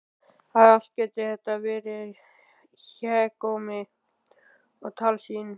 Að allt gæti þetta verið hégómi og tálsýn!